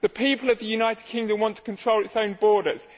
The people of the United Kingdom want to control its own borders